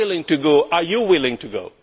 I am willing to go, are you willing to go?